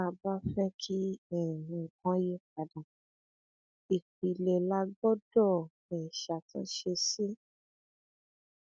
tá a bá fẹ kí um nǹkan yípadà ìpilẹ la gbọdọ um ṣàtúnṣe sí